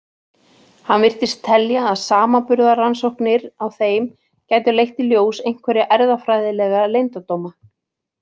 Hann virtist telja að samanburðarrannsóknir á þeim gætu leitt í ljós einhverja erfðafræðilega leyndardóma.